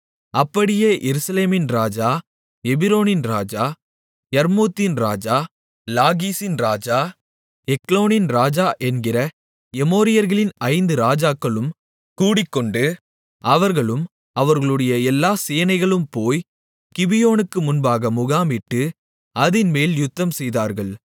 அப்படியே எருசலேமின் ராஜா எபிரோனின் ராஜா யர்மூத்தின் ராஜா லாகீசின் ராஜா எக்லோனின் ராஜா என்கிற எமோரியர்களின் ஐந்து ராஜாக்களும் கூடிக்கொண்டு அவர்களும் அவர்களுடைய எல்லா சேனைகளும் போய் கிபியோனுக்கு முன்பாக முகாமிட்டு அதின்மேல் யுத்தம்செய்தார்கள்